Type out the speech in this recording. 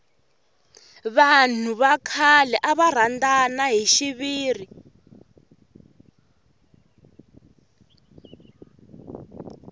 vanhu va khale ava rhandana hi xiviri